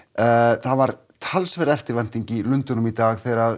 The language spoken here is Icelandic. það var talsverð eftirvænting í Lundúnum í dag þegar